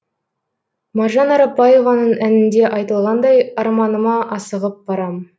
маржан арапбаеваның әнінде айтылғандай арманыма асығып барам